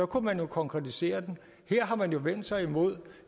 kunne man jo konkretisere det her har man jo vendt sig imod